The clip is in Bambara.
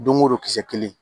Don o don kisɛ kelen